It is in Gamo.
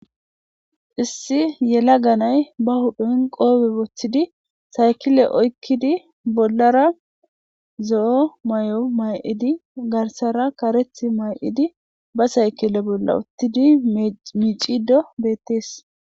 Issi yela ganay ba hudhen qoobe boththidi saykile oykkidi bollara zo'o may'o may'idi garsara kareth may'idi ba saykile bolla uttidi miic'ido beettees.